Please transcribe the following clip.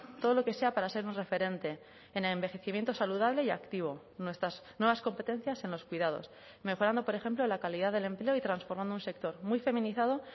todo lo que sea para ser un referente en el envejecimiento saludable y activo nuestras nuevas competencias en los cuidados mejorando por ejemplo la calidad del empleo y transformando un sector muy feminizado